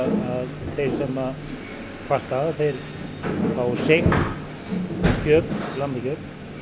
þeir sem að kvarta þeir fá seigt lambakjöt